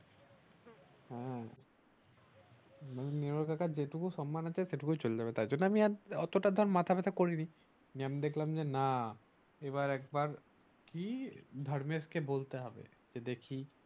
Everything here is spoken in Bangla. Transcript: হ্যাঁ নির্মল কাকার যেটুকু সম্মান আছে সেটুকু ও চলে যাবে তার জন্য আমি অতোটা মাথা ব্যাথ্যা করিনি আমি দেখলাম যে না এবার একবার কি ধার্মেক কে বলতে হবে দেখি